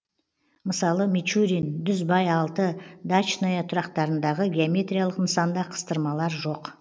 мысалы мичурин дүзбай алты дачная тұрақтарындағы геометриялык нысанда кыстырмалар жоқ